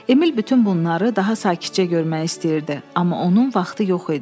Emil bütün bunları daha sakitcə görmək istəyirdi, amma onun vaxtı yox idi.